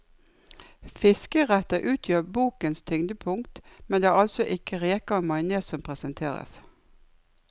Fiskeretter utgjør bokens tyngdepunkt, men det er altså ikke reker og majones som presenteres.